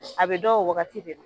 A bɛ dɔn o waagati de la.